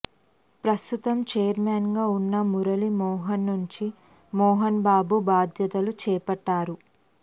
ప్రస్తుతం చైర్మెన్ గా ఉన్న మురళి మోహన్ నుంచి మోహన్ బాబు బాధ్యతలు చేపట్టారు